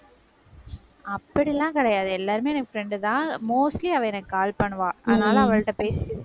அப்படி எல்லாம் கிடையாது. எல்லாருமே எனக்கு friend தான். mostly அவ எனக்கு call பண்ணுவா. அதனால, அவள்ட பேசி